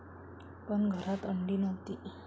पण घरात अंडी नव्हती.